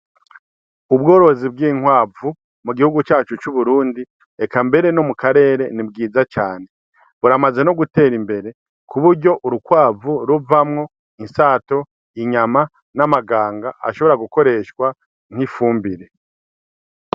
Ubworozi bw'inkwavu mu gihugu cacu c'Uburundi, eka mbere no mu karere, ni bwiza cane. Buramaze no gutera imbere ku buryo urukwavu ruvamwo insato, inyama, n'amaganga ashobora gukoreshwa nk'ifumbire.